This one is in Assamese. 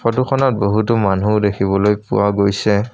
ফটোখনত বহুতো মানুহ দেখিবলৈ পোৱা গৈছে।